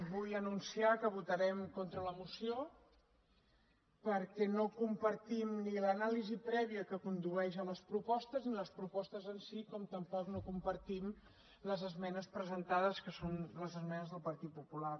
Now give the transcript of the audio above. vull anunciar que votarem contra la moció perquè no compartim ni l’anàlisi prèvia que condueix a les propostes ni les propostes en si com tampoc no compartim les esmenes presentades que són les esmenes del partit popular